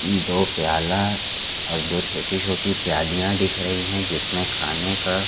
दो प्याला और दो छोटी-छोटी प्यालियाँ दिख रही हैं जिसमें खाने का--